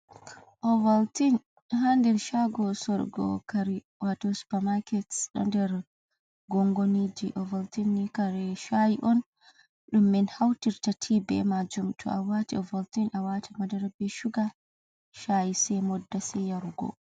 Ovaltin ha nder shago sorugo kare wato supamaket ɗo nder gongoniji ovaltin ni kare shai on ɗum min hautirta be majum to a wati ovaltin a wati madara ɓe shuga se modda se yarugo.